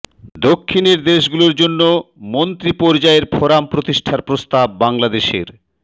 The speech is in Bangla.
দক্ষিণের দেশগুলোর জন্য মন্ত্রী পর্যায়ের ফোরাম প্রতিষ্ঠার প্রস্তাব বাংলাদেশের